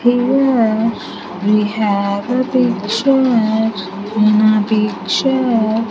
Here we have a picture in a picture.